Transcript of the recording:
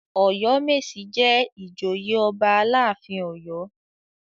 Ọ̀yọ́mèsì jẹ́ ìjòyè ọba aláàfin Ọ̀yọ́.